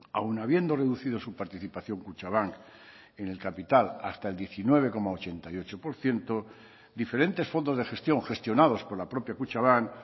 aun habiendo reducido su participación kutxabank en el capital hasta el diecinueve coma ochenta y ocho por ciento diferentes fondos de gestión gestionados por la propia kutxabank